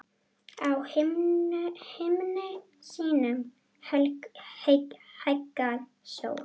Á himni sínum hækkar sól.